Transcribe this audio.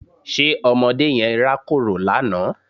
Ṣe ọmọdé yẹn rákòrò lánàá?